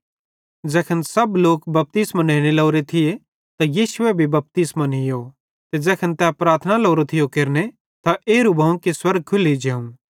ज़ैखन सब लोक बपतिस्मो नेने लोरे थिये त यीशुए भी बपतिस्मो नीयो ते ज़ैखन तै प्रार्थना लोरो थियो केरने त एरू भोवं कि स्वर्ग खुल्ली जेवं